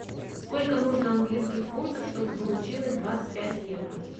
сколько нужно английских фунтов чтобы получилось двадцать пять евро